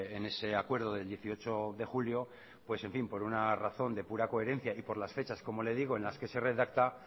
en ese acuerdo del dieciocho de julio por una razón de pura coherencia y por las fechas en la que se redacta